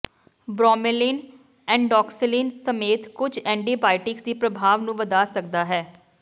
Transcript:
bromelain ਐਂਡੋਕਸਿਲੀਨ ਸਮੇਤ ਕੁਝ ਐਂਟੀਬਾਇਟਿਕਸ ਦੀ ਪ੍ਰਭਾਵ ਨੂੰ ਵਧਾ ਸਕਦਾ ਹੈ